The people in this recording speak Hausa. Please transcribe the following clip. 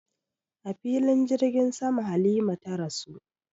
A filin jirgin sama Halima ta rasu